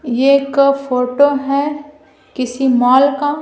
एक फोटो है किसी मॉल का--